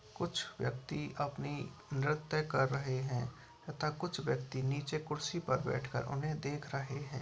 कुछ व्यक्ति अपनी नृत्य कर रहे हैं तथा कुछ व्यक्ति नीचे कुर्सी पर बैठकर उन्हें देख रहे हैं।